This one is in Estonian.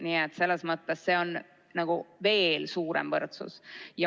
Nii et selles mõttes see on nagu veel suurem võrdsus.